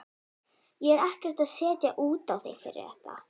Ég er ekkert að setja út á þig fyrir þetta.